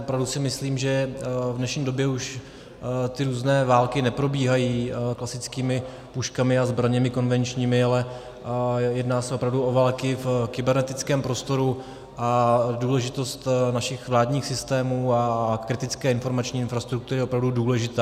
Opravdu si myslím, že v dnešní době už ty různé války neprobíhají klasickými puškami a zbraněmi konvenčními, ale jedná se opravdu o války v kybernetickém prostoru a důležitost našich vládních systémů a kritické informační infrastruktury je opravdu důležitá.